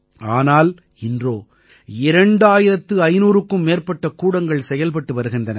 ஆனால் இன்றோ 2500க்கும் மேற்பட்ட கூடங்கள் செயல்பட்டு வருகின்றன